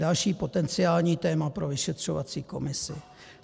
Další potenciální téma pro vyšetřovací komisi.